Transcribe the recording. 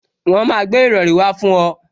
Wọn máa gbé ìrọrí wá fún ọ